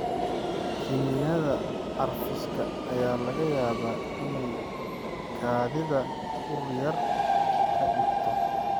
Kiniinnada carfiska ayaa laga yaabaa inay kaadidaada ur yar ka dhigto.